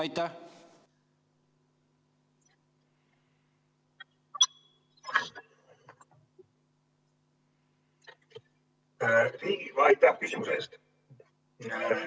Aitäh küsimuse eest!